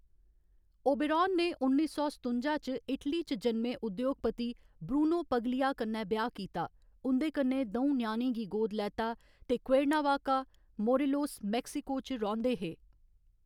Oberon ने उन्नी सौ सतुंजा च इटली च जन्मे उद्योगपति ब्रूनो पगलिया कन्नै ब्याह्‌‌ कीता, उं'कन्नै द'ऊं ञ्याणें गी गोद लैता ते क्वेर्नावाका, मोरेलोस, मैक्सिको च रौंह्‌‌‌दे हे।